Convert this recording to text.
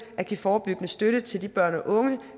at give forebyggende støtte til de børn og unge